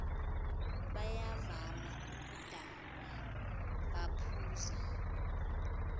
bayavama ukudakwa baphuza